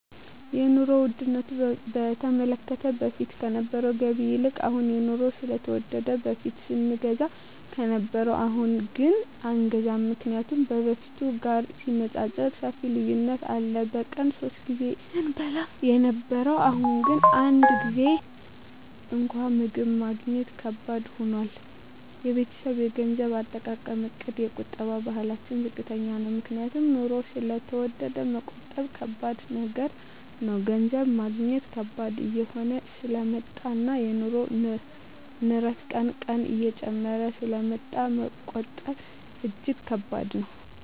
የኑሮ ዉድነቱ በተመለከተ በፊት ከነበረዉ ገቢ ይልቅ አሁን የኑሮዉ ስለተወደደ በፊት ስንገዛ ከነበረ አሁንግን አይገዛም ምክንያቱም ከበፊቱ ጋር ሲነፃፀር ሰፊ ልዩነት አለ በቀን ሶስት ጊዜ ስንበላ የነበረዉ አሁን ግን አንድ ጊዜም እንኳን ምግብ ማግኘት ከባድ ሆኗል የቤተሰቤ የገንዘብ አጠቃቀምእቅድ የቁጠባ ባህላችን ዝቅተኛ ነዉ ምክንያቱም ኑሮዉ ስለተወደደ መቆጠብ ከባድ ነገር ነዉ ገንዘብ ማግኘት ከባድ እየሆነ ስለመጣእና የኑሮዉ ንረት ቀን ቀን እየጨመረ ስለሚመጣ መቆጠብ እጂግ ከባድ ነዉ